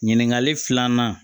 Ɲininkali filanan